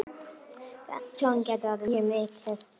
Tjón gæti orðið mjög mikið.